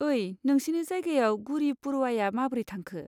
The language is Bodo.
ओइ, नोंसिनि जायगायाव गुड़ी पड़वाया माबोरै थांखो?